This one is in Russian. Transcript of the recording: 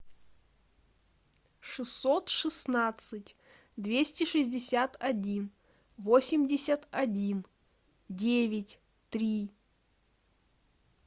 шестьсот шестнадцать двести шестьдесят один восемьдесят один девять три